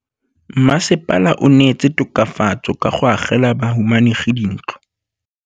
Mmasepala o neetse tokafatsô ka go agela bahumanegi dintlo.